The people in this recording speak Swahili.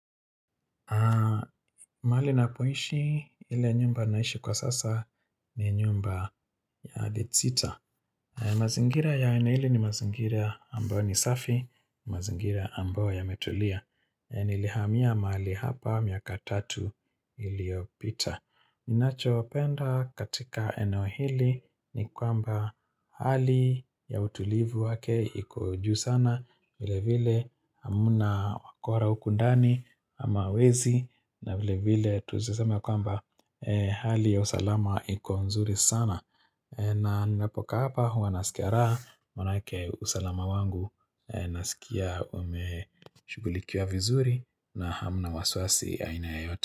Mahali napoishi, ile nyumba naishi kwa sasa ni nyumba ya bedsitter. Mazingira ya aina ile ni mazingira ambao ni safi, mazingira ambao yametulia. Nilihamia mahali hapa miaka tatu iliopita. Ninachopenda katika eneo hili ni kwamba hali ya utulivu wake ikojuu sana. Vile vile hamuna wakora hukundani ama wezi na vile vile tuwezi sema kwamba hali ya usalama iko nzuri sana na ninapokaa hapa huwa nasikia raha Manake usalama wangu nasikia umeshugulikiwa vizuri na hamuna wasiwasi aina yoyote.